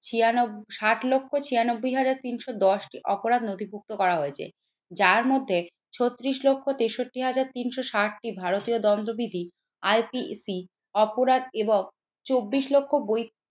ছিয়ানব্বই ষাট লক্ষ ছিয়ানব্বই হাজার তিনশো দশটি অপরাধ নথিভুক্ত করা হয়েছে। যার মধ্যে ছত্রিশ লক্ষ তেষট্টি হাজার তিনশো ষাট টি ভারতীয় দণ্ডবিধি IPEC অপরাধ এবং চব্বিশ লক্ষ ব